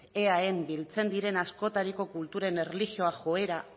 eaen biltzen diren askotariko kulturen erlijioak joera